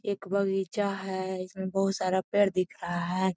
एक बगीचा है इसमें बहुत सारा पेड़ दिख रहा है।